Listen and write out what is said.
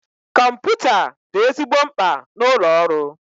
Kọmputa dị ezigbo mkpa na ụlọ ọrụ